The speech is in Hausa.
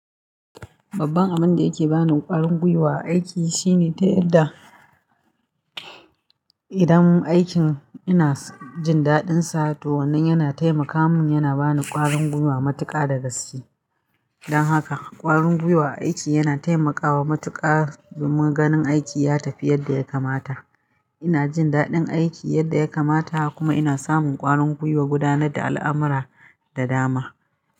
Babban abin da yake ba ni ƙwarin guiwa a aiki shine ta yadda idan aikin ina jin daɗinsa to wannan yana taimaka min, yana ba ni ƙwarin guiwa, matuƙa da gaske. Don haka ƙwarin guiwa a aiki yana taimakawa matuƙa domin ganin aiki ya tafi yadda ya kamata. Ina jin daɗin aiki yadda ya kamata kuma ina samun ƙwarin guiwa gudanar da al'amura da dama.